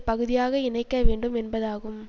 பகுதியாக இணைக்க வேண்டும் என்பதாகும்